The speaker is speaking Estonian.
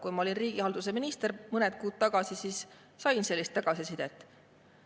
Kui ma olin riigihalduse minister mõned kuud tagasi, siis sain tagasisidet.